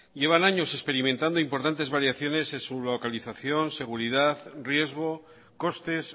llevan años experimentando importantes variaciones en su localización seguridad riesgo costes